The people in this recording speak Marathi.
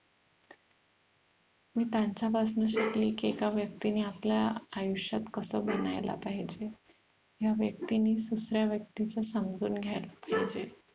मी त्यांचा पासन शिकली की एका व्यक्तीने आपल्या आयुष्यात कस बनायला पाहिजे ह्या व्यक्तीनीच दुसऱ्या व्यक्तीच समजून घ्यायला पाहिजे